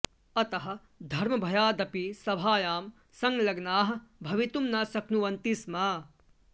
अतः धर्मभयादपि सभायां संलग्नाः भवितुं न शक्नुवन्ति स्म